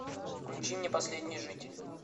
включи мне последний житель